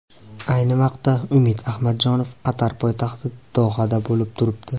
Ayni vaqtda Umid Ahmadjonov Qatar poytaxti Dohada bo‘lib turibdi.